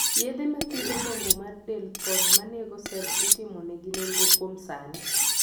yedhe ma thiedho dongo mar del kod manego sels itimo negi nonro kuom sani